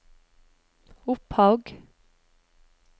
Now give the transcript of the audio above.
Opphaug